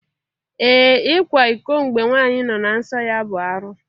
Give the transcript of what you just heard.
Ee! Ịkwa iko mgbe nwanyị nọ na nsọ ya bụ arụ.